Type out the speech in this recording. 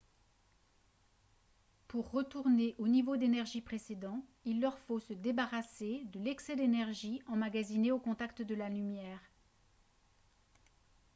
pour retourner au niveau d'énergie précédent il leur faut se débarrasser de l'excès d'énergie emmagasiné au contact de la lumière